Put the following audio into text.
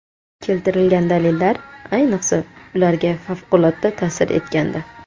Keltirilgan dalillar, ayniqsa, ularga favqulodda ta’sir etgandi.